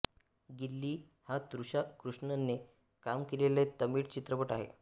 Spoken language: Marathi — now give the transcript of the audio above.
गिल्ली हा तृषा कृष्णनने काम केलेला तमिळ चित्रपट आहे